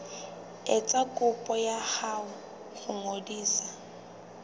etsa kopo ya ho ngodisa